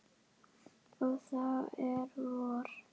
Og það er vor.